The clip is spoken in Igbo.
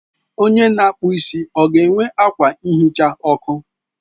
Onye na-akpụ isi ọ ga-enwe akwa nhicha ọkụ?